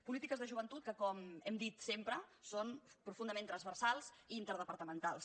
polítiques de joventut que com hem dit sempre són profundament transversals i interdepartamentals